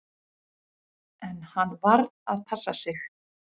En hann varð að passa sig.